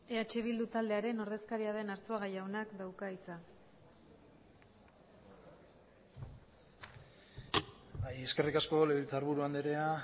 eh bildu taldearen ordezkaria den arzuaga jaunak dauka hitza bai eskerrik asko legebiltzarburu andrea